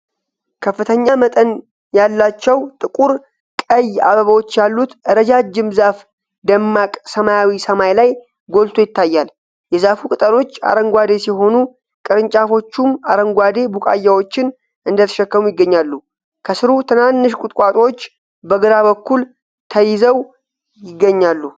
ከፍተኛ መጠን ያላቸው ጥቁር ቀይ አበባዎች ያሉት ረጃጅም ዛፍ ደማቅ ሰማያዊ ሰማይ ላይ ጎልቶ ይታያል። የዛፉ ቅጠሎች አረንጓዴ ሲሆኑ፣ ቅርንጫፎቹም አረንጓዴ ቡቃያዎችን እንደተሸከሙ ይገኛሉ። ከስሩ ትናንሽ ቁጥቋጦዎች በግራ በኩል ተያይዘው ይገኛሉ።